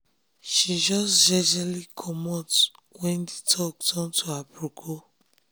she jus jejely comot wen d talk turn to aproko